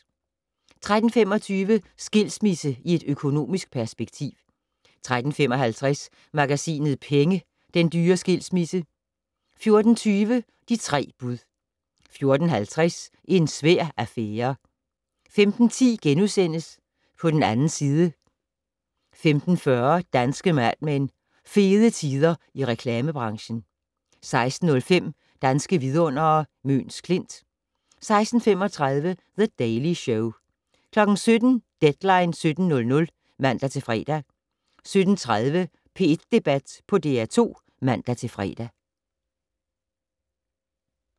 13:25: Skilsmisse i et økonomisk perspektiv 13:55: Magasinet Penge: Den dyre skilsmisse 14:20: De tre bud 14:50: En svær affære 15:10: På den 2. side * 15:40: Danske Mad Men: Fede tider i reklamebranchen 16:05: Danske vidundere: Møns Klint 16:35: The Daily Show 17:00: Deadline 17.00 (man-fre) 17:30: P1 Debat på DR2 (man-fre)